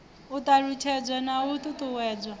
u ṱalutshedzwa na u ṱuṱuwedzwa